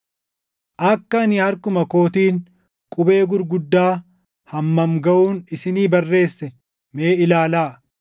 Akka ani harkuma kootiin qubee gurguddaa hammam gaʼuun isinii barreesse mee ilaalaa!